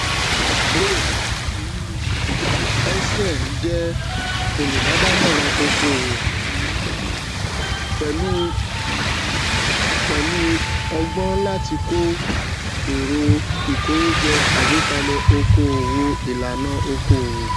brain um essien jẹ olùbádámọràn okòwò um pẹlú um pẹlú ọgbọn láti ko èrò ìkówójọ àgbékalẹ okòwò ìlànà okòwò